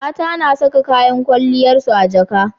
mata na Saka kayan kwaliyar su a jaka